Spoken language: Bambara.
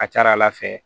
A ka ca ala fɛ